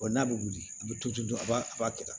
n'a bɛ wuli a bɛ to dɔrɔn a b'a a b'a kɛ tan